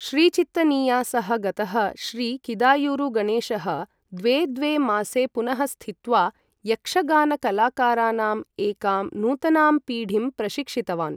श्रीचित्तनीया सह गतः श्री किदायुरु गणेशः द्वे द्वे मासे पुनः स्थित्वा यक्षगानकलाकारानाम् एकां नूतनां पीढीं प्रशिक्षितवान् ।